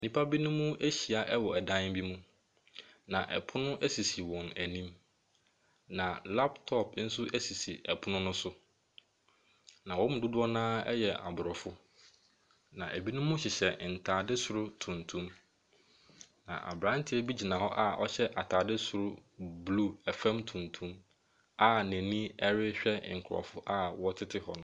Nnipa binom ahyia wɔ dan bi mu, na pono sisi wɔn anim, na laptop nso sisi pono no so, na wɔn mu dodoɔ no ara yɛ aborɔfo, na binom hyehyɛ ntade soro tuntum, na aberanteɛ bi gyina hɔ a ɔhyɛ atade soro blue, fam tuntum a n'ani rehwɛ nkurɔfoɔ a wɔtete hɔ no.